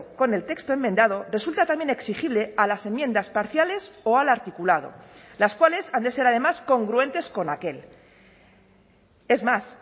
con el texto enmendado resulta también exigible a las enmiendas parciales o al articulado las cuales han de ser además congruentes con aquel es más